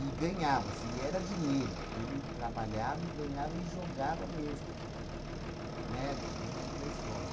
E ganhava-se, e era dinheiro, porque ele trabalhava e ganhava e jogava mesmo, né, dentro da escola.